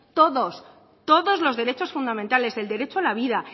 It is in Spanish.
todos todos los derechos fundamentales el derecho a la vida